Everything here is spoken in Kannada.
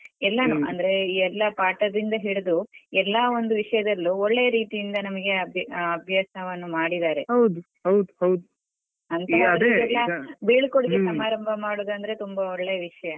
ಅಂದ್ರೆ ಎಲ್ಲ ಪಾಠದಿಂದ ಹಿಡಿದು ಎಲ್ಲ ಒಂದು ವಿಷಯದ್ಲಲೂ ಒಳ್ಳೆಯ ರೀತಿಯಿಂದ ನಮ್ಗೆ ಅಭ್ಯಾ~ ಅಭ್ಯಾಸವನ್ನು ಮಾಡಿದಾರೆ ಬೀಳ್ಕೊಡುಗೆ ಸಮಾರಂಭ ಮಾಡುವುದಂದ್ರೆ ತುಂಬ ಒಳ್ಳೆ ವಿಷಯ.